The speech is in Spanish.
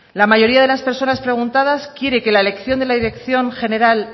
la mayoría de las personas preguntadas quiere que la elección de la dirección general